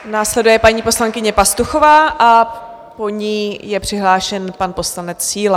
Následuje paní poslankyně Pastuchová a po ní je přihlášen pan poslanec Síla.